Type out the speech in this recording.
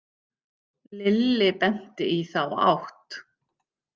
Lilli benti í þá átt.